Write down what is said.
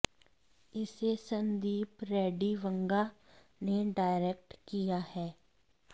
इसे संदीप रेड्डी वंगा ने डायरेक्ट किया है